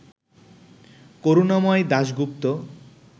Karunamoy Dasgupta